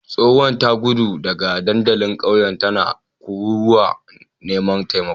Tsohuwar ta gudu daga dandalin kauye tana kururuwar neman taimako